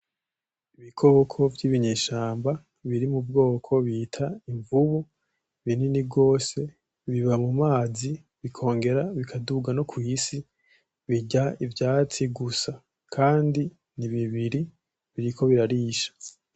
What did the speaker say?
Ibikoko vy'ibinyeshamba, biri mubwoko bita imvubu ;binini gose biba mumazi bikongera bikaduga no kw'isi, birya ivyatsi gusa kandi ni bibiri biriko birarisha.